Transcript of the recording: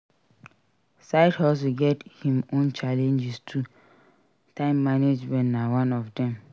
Side hustle get him own challenges too time management na one of dem